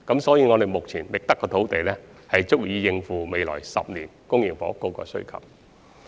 所以，目前覓得的土地將足以應付未來10年的公營房屋需求。